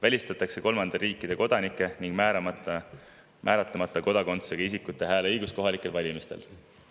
Välistatakse kolmandate riikide kodanike ning määratlemata kodakondsusega isikute hääleõigus kohalikel valimistel.